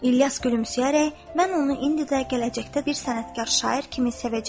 İlyas gülümsəyərək, mən onu indi də, gələcəkdə bir sənətkar şair kimi sevəcəyəm.